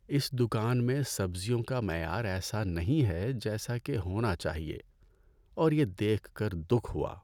اس دکان میں سبزیوں کا معیار ایسا نہیں ہے جیسا کہ ہونا چاہیے اور یہ دیکھ کر دکھ ہوا۔